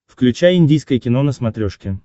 включай индийское кино на смотрешке